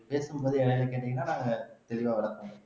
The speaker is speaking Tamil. பேசும்போது என்னென்னனு கேட்டீங்கன்னா நாங்க தெளிவா விளக்குவோம்